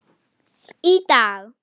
Í dag?